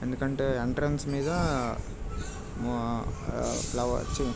ఎందుకంటే ఎంట్రన్స్ మీద ఆ ఫ్లవర్ --]